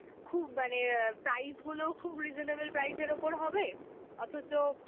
খুব মানে, অ্যাঁ price গুলোও খুব reasonable price এর ওপর হবে, অথচ